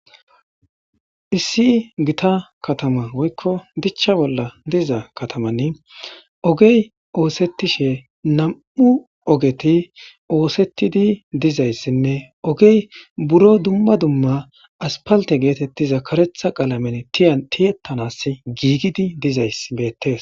Issi gita katama woykko dichcha bolla diiza katamanni ogey oosettishe nam'u ogeti oosettidi dizayssinne ogey buro dumma dumma aspalte geetetti za karetha qalamen tiya tiyettanas giigidi dizays beettes.